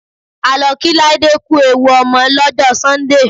A lọ kí Láídé ku ewu ọmọ lọ́jọ́ Sọ́ńdè.